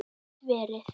Gæti verið.